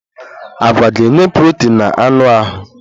Agwa ga-enye protin na anụ ahụ.